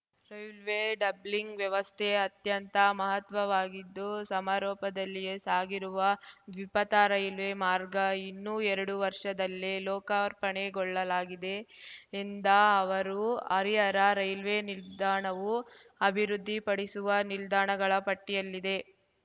railway doubling ವ್ಯವಸ್ಥೆ ಅತ್ಯಂತ ಮಹತ್ವವಾಗಿದ್ದು ಸಮರೋಪದಲ್ಲಿಯೇ ಸಾಗಿರುವ ದ್ವಿಪಥ ರೈಲ್ವೆ ಮಾರ್ಗ ಇನ್ನು ಎರಡು ವರ್ಷದಲ್ಲೇ ಲೋಕಾರ್ಪಣೆ ಗೊಳ್ಳಲಾಗಿದೆ ಎಂದ ಅವರು ಹರಿಹರ ರೈಲ್ವೆ ನಿಲ್ದಾಣವೂ ಅಭಿವೃದ್ಧಿ ಪಡಿಸುವ ನಿಲ್ದಾಣಗಳ ಪಟ್ಟಿಯಲ್ಲಿದೆ